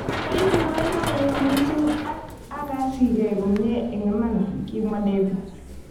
Koibu boiboiyet mising ak akasigei komie eng iman" kimwa David.